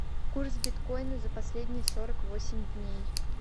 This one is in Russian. курс биткоина за последние сорок восемь дней